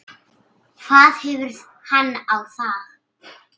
hvað hefur hann á þá?